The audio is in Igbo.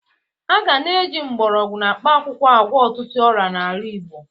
A ga na-eji mgbọrọgwụ na mkpakwụkwọ agwọ ọtụtụ ọrịa n'ala Igbo.